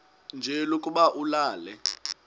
nje lokuba ulale